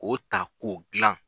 Ko ta ko glan.